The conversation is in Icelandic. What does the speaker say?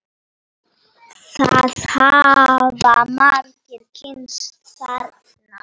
Það hafa margir kynnst þarna.